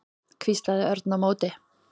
hvíslaði Örn á móti.